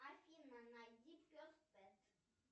афина найди пес пять